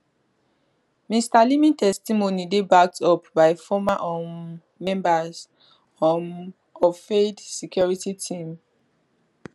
mr leeming testimony dey backed up by former um members um of fayed security team